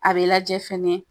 A be lajɛ fɛnɛ